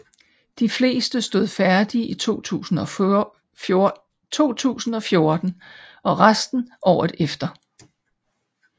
De fleste stod færdige i 2014 og resten året efter